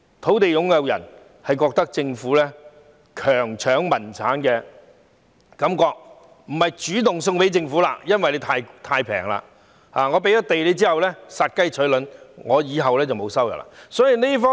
土地擁有人覺得政府強搶民產，所以便不會主動把土地交給政府，因為價錢太便宜；再加上把土地交給政府後便等於殺雞取卵，從此失去收入。